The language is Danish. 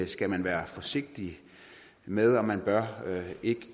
skal man være forsigtig med og man bør ikke